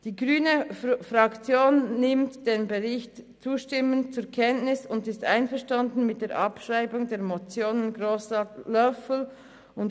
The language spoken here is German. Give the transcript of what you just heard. Die Fraktion der Grünen nimmt den Bericht zustimmend zur Kenntnis und ist einverstanden mit der Abschreibung der beiden Motionen.